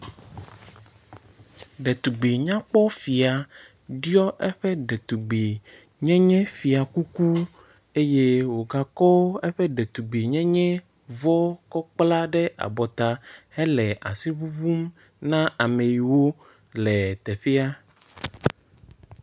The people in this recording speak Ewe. Ɖetugbi nyakpɔ fia ɖiɔ eƒe ɖetugbi nyenye fiakuku eye wogakɔ eƒe ɖetugbi nyenye vɔ kɔ kpla ɖe abɔta hele asi ŋuŋum na ame yiw le teƒea.